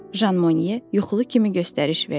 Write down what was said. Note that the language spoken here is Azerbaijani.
Jan Mone yuxulu kimi göstəriş verdi.